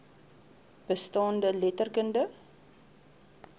bestaande letter kundige